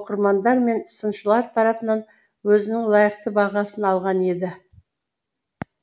оқырмандар мен сыншылар тарапынан өзінің лайықты бағасын алған еді